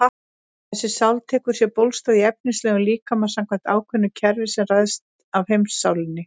Þessi sál tekur sér bólstað í efnislegum líkama samkvæmt ákveðnu kerfi sem ræðst af heimssálinni.